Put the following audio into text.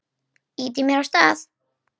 Ýtir mér af stað.